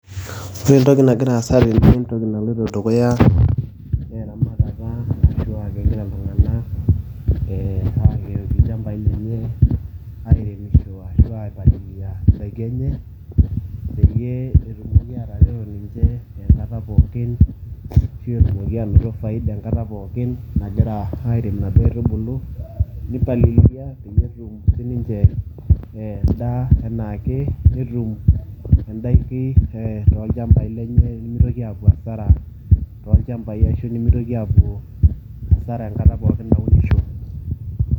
ore entoki nagira aasa tene entoki naloito dukuya, naa eramatata ashu aa kegira iltunganak aaleen ilchamapi lenye. airemisho ashu aipalilia idaiki enye. peyie etumoki atareto ninche enkata pookin. ashu etumoki aanoto faida enkata pookin nagira, airem inadoo aitubulu, nipaliliaki, pee etum si ninche edaa anaake. netum idaiki tolchampai lenye nemitoki aapuo asara, tolchampai, ashu nimitoki aapuo asara enkata pookin naunisho.